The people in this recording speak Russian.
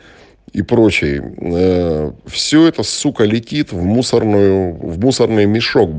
и прочее ээ все это сука летит в мусорную в мусорный мешок бл